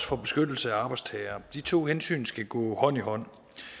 for beskyttelse af arbejdstagere de to hensyn skal gå hånd i hånd